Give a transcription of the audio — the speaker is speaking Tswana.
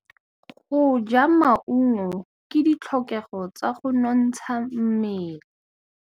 Go ja maungo ke ditlhokegô tsa go nontsha mmele.